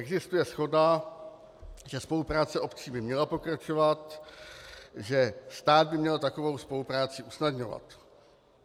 Existuje shoda, že spolupráce obcí by měla pokračovat, že stát by měl takovou spolupráci usnadňovat.